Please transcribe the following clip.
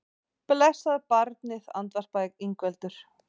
Blessað barnið, andvarpaði Ingveldur.